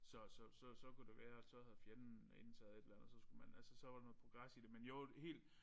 Så så så så kunne det være at så havde fjenden indtaget et eller andet så skulle man altså så var der noget progres i det men jo helt